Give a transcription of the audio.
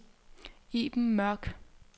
Iben Mørk